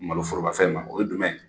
Malo forobafɛn ma o ye dumɛn